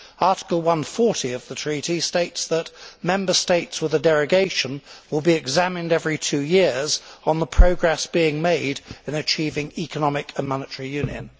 Article 140 of the Treaty states that Member States with a derogation will be examined every two years on the progress being made in achieving economic and monetary union.